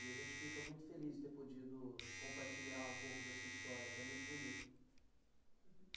E a gente fica muito feliz de ter podido compartilhar um pouco da sua história, que é muito bonita.